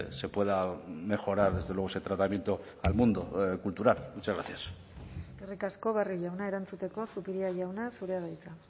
se pueda mejorar desde luego ese tratamiento al mundo cultural muchas gracias eskerrik asko barrio jauna erantzuteko zupiria jauna zurea da hitza